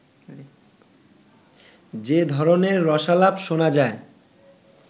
যে ধরনের রসালাপ শোনা যায়